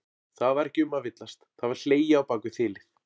Það var ekki um að villast, það var hlegið á bak við þilið!